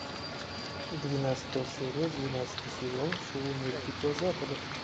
двенадцатая серия двенадцатый сезон шоу мир дикого запада